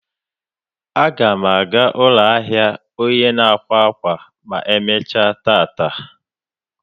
Aga m aga ụlọ ahịa onye n'akwa akwa ma emechaa taa.